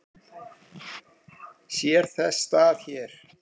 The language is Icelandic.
Sér þess stað hér?